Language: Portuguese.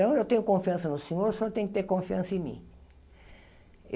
eu tenho confiança no senhor, o senhor tem que ter confiança em mim.